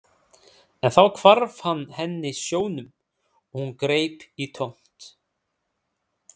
En þá hvarf hann henni sjónum og hún greip í tómt.